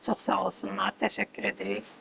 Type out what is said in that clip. Çox sağ olsunlar, təşəkkür edirik.